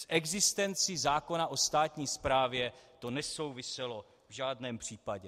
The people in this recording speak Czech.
S existencí zákona o státní správě to nesouviselo v žádném případě.